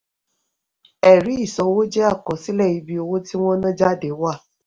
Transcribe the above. ẹ̀rí ìsanwó jẹ́ àkọsílẹ̀ ibi owó tí wọn ná jáde wà.